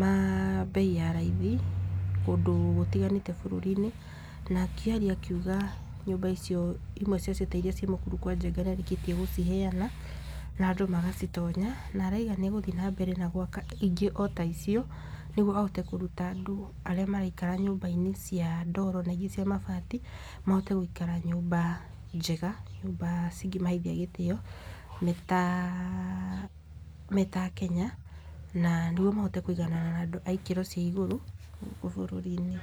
ma mbei ya raithi kũndũ gũtiganĩte bũrũri-inĩ, na akĩaria akiuga nyũmba icio ciamwe ta iria ci mũkũrwe kwa njega nĩ arĩkĩtie gũciheana na andũ magacitonya , na araiga nĩ agũthiĩ na mbere na gwaka ingĩ o ta icio, nĩgetha ahote kũruta andũ arĩa maraikara nyũmba cia ndoro na ingĩ cia mabati, moke gũikara nyũmba njega, nyũmba cingĩmaheithia gĩtĩo meta akenya, na nĩgwo mahote kũiganana na andũ a ikĩro cia igũrũ gũkũ bũrũri-inĩ.